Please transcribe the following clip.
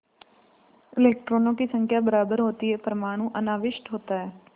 इलेक्ट्रॉनों की संख्या बराबर होती है परमाणु अनाविष्ट होता है